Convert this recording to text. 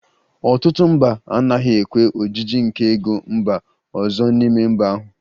Ọtụtụ mba anaghị ekwe ojiji nke ego mba ọzọ n'ime mba ahụ